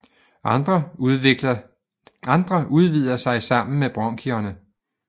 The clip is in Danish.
Andre udvider sig sammen med bronkierne